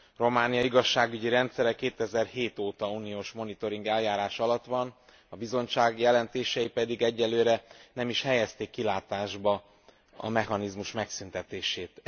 Románia igazságügyi rendszere 2007 óta uniós monitoring eljárás alatt van, a Bizottság jelentései pedig egyelőre nem is helyezték kilátásba a mechanizmus megszüntetését.